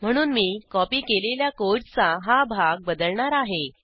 म्हणून मी कॉपी केलेल्या कोडचा हा भाग बदलणार आहे